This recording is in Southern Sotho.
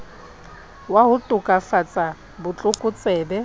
wa ho tokafatsa bo tlokotsebe